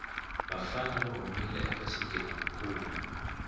vafana va humile eka xigilamikhuva